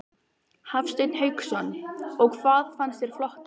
Hafsteinn Hauksson: Og hvað fannst þér flottast?